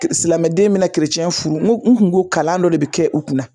ke silamɛden mana keresɛn furu n kun ko kalan dɔ de be kɛ u kunna